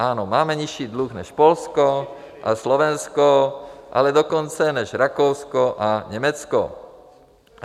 Ano, máme nižší dluh než Polsko, Slovensko, ale dokonce i než Rakousko a Německo.